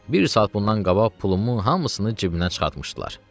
Bir saat bundan qabaq pulumu hamısını cibinə çıxartmışdılar.